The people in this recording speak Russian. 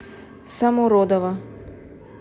самородова